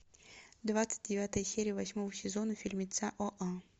двадцать девятая серия восьмого сезона фильмеца оа